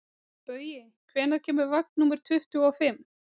Baui, hvenær kemur vagn númer tuttugu og fimm?